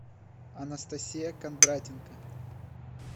анастасия кондратенко